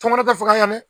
Tɔmɔnɔ tɛ faga yan dɛ